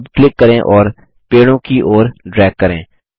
अब क्लिक करें और पेड़ों की ओर ड्रैग करें